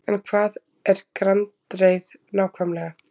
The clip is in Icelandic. En hvað er gandreið nákvæmlega?